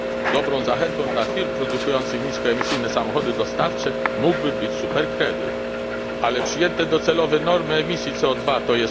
Dobrą zachętą dla firm produkujących niskoemisyjne samochody dostawcze mógłby być superkredyt, ale przyjęte docelowe normy emisji CO 2, tj.